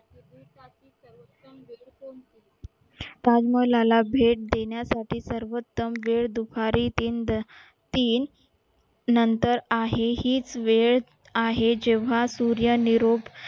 ताजमहाला भेट देण्यासाठी सर्वोत्तम वेळ दुपारी तीन तीन नंतर आहे हीच वेळ आहे जेव्हा सूर्य निरोप